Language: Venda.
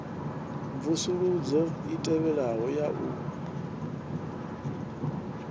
mvusuludzo i tevhelaho ya u